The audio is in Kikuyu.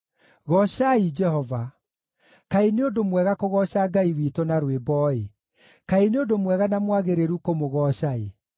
Goocai Jehova. Kaĩ nĩ ũndũ mwega kũgooca Ngai witũ na rwĩmbo-ĩ, kaĩ nĩ ũndũ mwega na mwagĩrĩru kũmũgooca-ĩ!